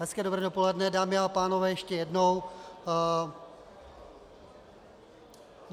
Hezké dobré dopoledne, dámy a pánové, ještě jednou.